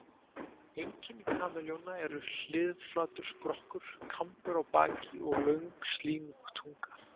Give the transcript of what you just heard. Einkenni kameljóna eru hliðflatur skrokkur, kambur á baki og löng, slímug tunga.